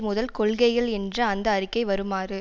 முதல் கொள்கைகள் என்ற அந்த அறிக்கை வருமாறு